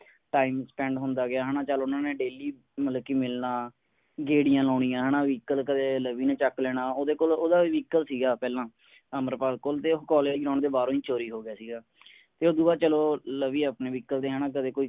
time spend ਹੁੰਦਾ ਗਿਆ ਹੈ ਨਾ ਚਲ ਉਨ੍ਹਾਂ ਨੇ daily ਮਤਲਬ ਕਿ ਮਿਲਨਾ ਗੇੜੀਆਂ ਲਾਉਣੀਆਂ ਹੈ ਨਾ ਵੀ ਕਦੇ ਕਦੇ ਲਵੀ ਨੇ ਚੱਕ ਲੈਣਾ ਓਹਦੇ ਕੋਲ ਓਹਦਾ ਵੀ vehicle ਸੀਗਾ ਪਹਿਲਾਂ ਅਮਰਪਾਲ ਕੋਲ, ਤੇ college ground ਦੇ ਬਾਹਰੋਂ ਹੀ ਚੋਰੀ ਹੋ ਗਿਆ ਸੀਗਾ। ਤੇ ਉਸਤੋਂ ਬਾਅਦ ਚਲੋ ਲਵੀ ਆਪਣੇ vehicle ਤੇ ਹੈ ਨਾ ਕਦੇ ਕੋਈ